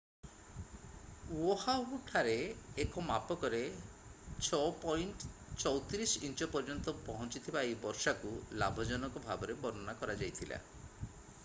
Oahu ଠାରେ ଏକ ମାପକରେ 6.34 ଇଞ୍ଚ ପର୍ଯ୍ୟନ୍ତ ପହଞ୍ଚିଥିବା ଏହି ବର୍ଷାକୁ ଲାଭଜନକ ଭାବରେ ବର୍ଣ୍ଣନା କରାଯାଇଥିଲା